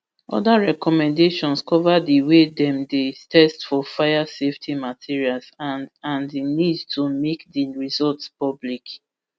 oda recommendations cover di way wey dem dey test for fire safety materials and and di need to make di results public